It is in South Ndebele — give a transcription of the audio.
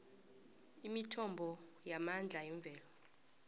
imithombo yamandla yemvelo